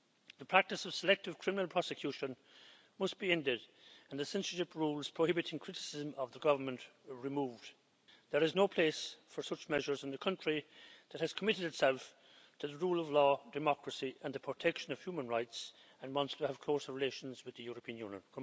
The practice of selective criminal prosecution must be ended and the censorship rules prohibiting criticism of the government removed. There is no place for such measures in a country that has committed itself to the rule of law, democracy and the protection of human rights, and wants to have closer relations with the European Union.